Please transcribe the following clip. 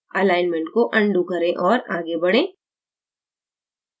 alignment को undo करें और आगे बढ़ें